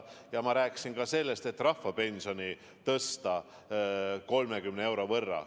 Ja ma rääkisin ka sellest, et me tahame rahvapensioni tõsta 30 euro võrra.